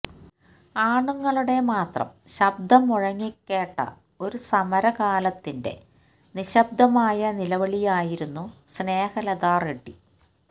ആണുങ്ങളുടെ മാത്രം ശബ്ദം മുഴങ്ങിക്കേട്ട ഒരു സമര കാലത്തിന്റെ നിശ്ശബ്ദമായ നിലവിളിയായിരുന്നു സ്നേഹലതാ റെഡ്ഢി